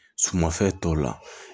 Sumafɛn tɔw la